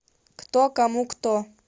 кто кому кто